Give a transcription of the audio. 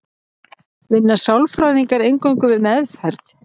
vinna sálfræðingar eingöngu við meðferð